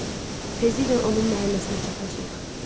Tezliklə onun məhəlləsinə çatacağıq.